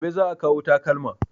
Gobe za a kawo takalma